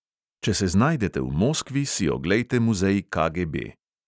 Če se znajdete v moskvi, si oglejte muzej KGB.